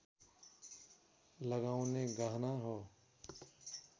लगाउने गहना हो